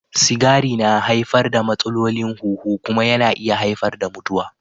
Sigari yana haifar da matsalolin huhu kuma yana iya haifar da mutuwa.